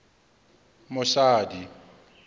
mosadi